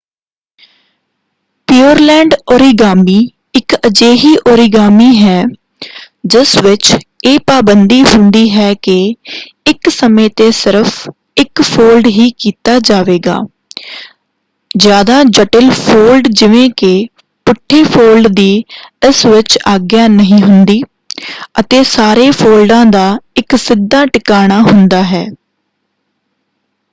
Pureland origami ਇੱਕ ਅਜਿਹੀ origami ਹੈ ਜਿਸ ਵਿੱਚ ਇਹ ਪਾਬੰਦੀ ਹੁੰਦੀ ਹੈ ਕਿ ਇੱਕ ਸਮੇਂ ‘ਤੇ ਸਿਰਫ਼ ਇੱਕ ਫੋਲਡ ਹੀ ਕੀਤਾ ਜਾਵੇਗਾ ਜ਼ਿਆਦਾ ਜਟਿਲ ਫੋਲਡ ਜਿਵੇਂ ਕਿ ਪੁੱਠੇ ਫੋਲਡ ਦੀ ਇਸ ਵਿੱਚ ਆਗਿਆ ਨਹੀਂ ਹੁੰਦੀ ਅਤੇ ਸਾਰੇ ਫੋਲਡਾਂ ਦਾ ਇੱਕ ਸਿੱਧਾ ਟਿਕਾਣਾ ਹੁੰਦਾ ਹੈ।